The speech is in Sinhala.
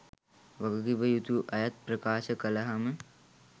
වගකිවයුතු අයත් ප්‍රකාශ කලහම